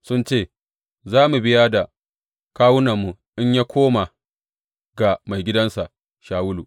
Sun ce, Za mu biya da kawunanmu in ya koma ga maigidansa Shawulu.